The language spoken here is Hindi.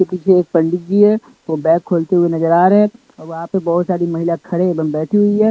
के पीछे एक पंडित जी है वो बैग खोलते हुए नजर आ रहे हैं वहां पर बहुत सारी महिला खड़े एवं बैठी हुई है।